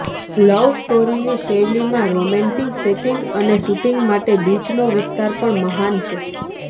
લવ સ્ટોરીની શૈલીમાં romantic setting અને શુટિંગ માટે બીચનો વિસ્તાર પણ મહાન છે